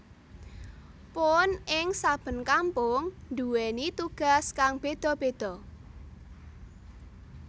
Puun ing saben kampung duwèni tugas kang beda beda